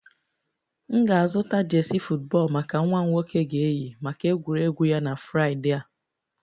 M ga-azụta jersey football maka nwa m nwoke ga-eyi maka egwuregwu ya na Fraịdee a